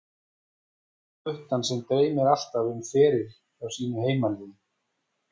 Eða guttann sem dreymdi alltaf um feril hjá sínu heimaliði?